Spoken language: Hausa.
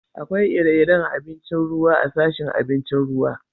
Akwai ire-iren abincin ruwa a'sashin abincin ruwa.